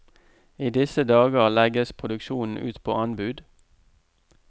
I disse dager legges produksjonen ut på anbud.